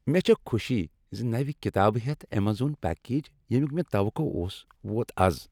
مےٚ چھےٚ خوشی زِ نوِ كِتابہٕ ہیٚتھ ایمیزون پیكیج، ییٚمِیُک مےٚ توقع اوس ووت مےٚ آز۔